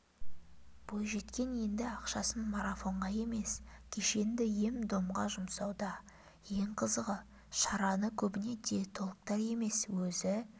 бойжеткен енді ақшасын марафонға емес кешенді ем-домға жұмсауда ең қызығы шараны көбіне диетологтар емес өзі